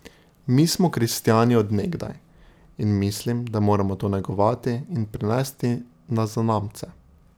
Mi smo kristjani od nekdaj in mislim, da moramo to negovati in prenesti na zanamce.